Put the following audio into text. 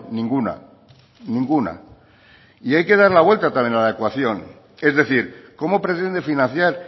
ninguna ninguna y hay que dar la vuelta también a la ecuación es decir cómo pretende financiar